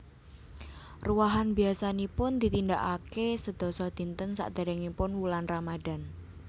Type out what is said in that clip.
Ruwahan biyasanipun ditindakake sedasa dinten sakderengipun wulan Ramadhan